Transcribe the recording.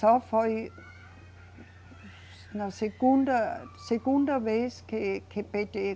Só foi na segunda, segunda vez que, que PêTê